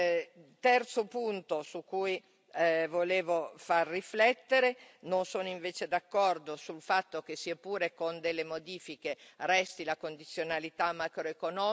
Terzo punto su cui volevo far riflettere non sono invece d'accordo sul fatto che, sia pure con delle modifiche, resti la condizionalità macroeconomica.